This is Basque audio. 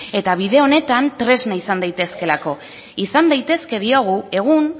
eta bide honetan tresna izan daitezkelako izan daitezke diogu egun